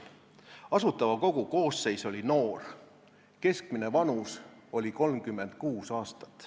Asutava Kogu koosseis oli noor, keskmine vanus 36 aastat.